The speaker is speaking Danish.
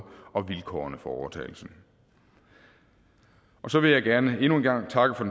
og vilkårene for overtagelsen så vil jeg gerne endnu en gang takke for